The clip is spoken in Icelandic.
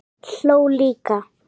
Hló líka.